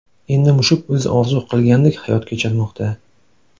Endi mushuk o‘zi orzu qilgandek hayot kechirmoqda.